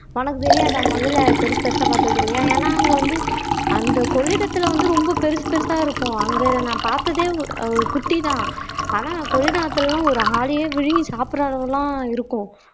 உனக்கு தெரியாதா முதல பெருசு பெருசா பார்த்தது இல்லையா ஏன்னா அங்க வந்து அந்த கொள்ளிடத்தில வந்து ரொம்ப பெருசு பெருசா இருக்கும் அங்க நான் பார்த்ததே ஒரு குட்டிதான் ஆனா கொள்ளிட ஆத்துலலாம் ஒரு ஆளேயே விழுங்கி சாப்பிடுற அளவு எல்லாம் இருக்கும்